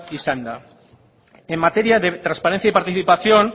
izanda en materia de transparencia y participación